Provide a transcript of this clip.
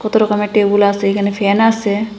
কত রকমের টেবুল আসে এখানে ফ্যান আসে।